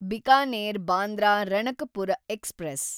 Bikaner Bandra Ranakpur express